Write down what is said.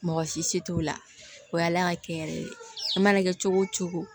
Mɔgɔsi si t'o la o y'ala ka kɛ n yɛrɛ ye a mana kɛ cogo o cogo